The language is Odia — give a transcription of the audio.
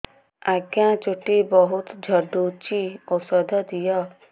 ଆଜ୍ଞା ଚୁଟି ବହୁତ୍ ଝଡୁଚି ଔଷଧ ଦିଅ